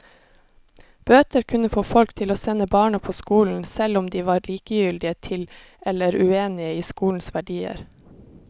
Bøter kunne få folk til å sende barna på skolen, selv om de var likegyldige til eller uenige i skolens verdier.